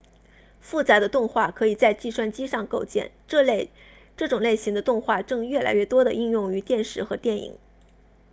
复杂的动画可以在计算机上构建这种类型的动画正越来越多地应用于电视和电影